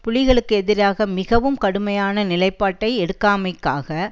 புலிகளுக்கு எதிராக மிகவும் கடுமையான நிலைப்பாட்டை எடுக்காமைக்காக